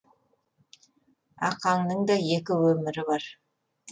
ақаңның да екі өмірі бар